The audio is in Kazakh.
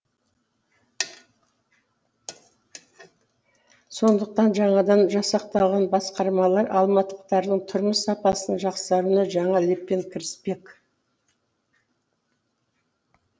сондықтан жаңадан жасақталған басқармалар алматылықтардың тұрмыс сапасының жақсаруына жаңа леппен кіріспек